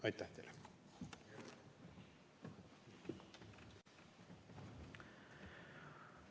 Aitäh teile!